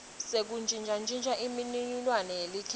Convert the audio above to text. sekuntjintja imininingwane yelikheli